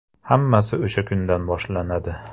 Hammasi o‘sha kundan boshlanadi.